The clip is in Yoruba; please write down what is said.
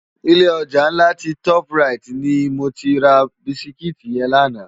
Ilé ojá nlá ti tòp ráiti ni mó ti rá bisikiti yèn làná